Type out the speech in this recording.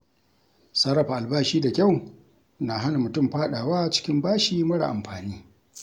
Sarrafa albashi da kyau na hana mutum fada wa cikin bashi mara amfani.